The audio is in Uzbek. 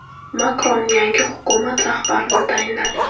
Makron yangi hukumat rahbarini tayinladi.